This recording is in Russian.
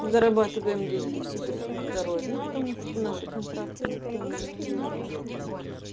зарабатываем деньги в сибирском здоровье потому что наши контракты никто не аннулировал